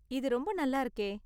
இது ரொம்ப நல்லா இருக்கே!